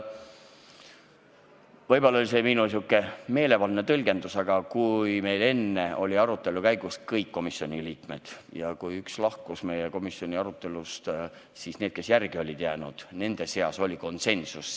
Võib-olla oli see minu sihuke meelevaldne tõlgendus, aga mõte oli selles, et kui meil alguses olid arutelul kohal kõik komisjoni liikmed, kuid vahepeal üks liige lahkus, siis nende seas, kes järele jäid, oli konsensus.